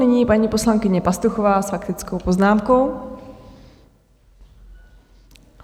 Nyní paní poslankyně Pastuchová s faktickou poznámkou.